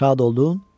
Şad oldun?